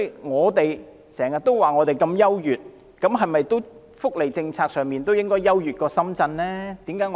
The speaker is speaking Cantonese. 我們經常說我們如何優越，那麼在福利政策上，是否也應該要較深圳優越呢？